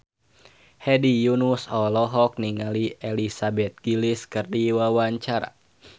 Hedi Yunus olohok ningali Elizabeth Gillies keur diwawancara